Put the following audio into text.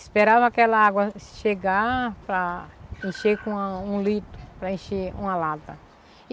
Esperava aquela água chegar para encher com uma um litro, para encher uma lata.